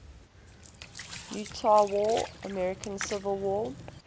utah war american civil war